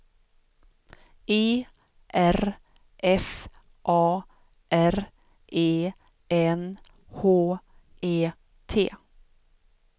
E R F A R E N H E T